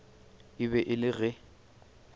e be e le ge